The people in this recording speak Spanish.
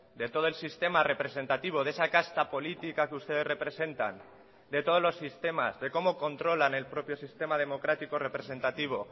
de todo el sistema representativo de esa casta política que ustedes representan de todos los sistemas de cómo controlan el propio sistema democrático representativo